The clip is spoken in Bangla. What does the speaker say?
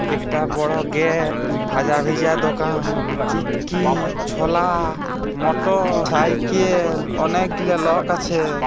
একটা বড়ো গেট উম ভাজা ভিজা দোকান | চুটকি ছোলা মটর সাইকেল অনেকগুলো লক আছে |